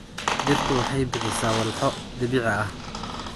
Dhirtu waxay bixisaa walxo dabiici ah.